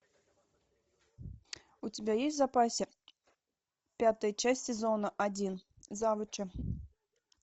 у тебя есть в запасе пятая часть сезона один завучи